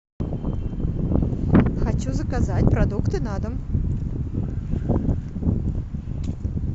хочу заказать продукты на дом